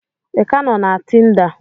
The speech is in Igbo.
Ị ka nọ na Tinda?